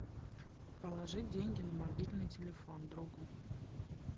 положи деньги на мобильный телефон другу